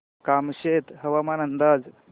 कामशेत हवामान अंदाज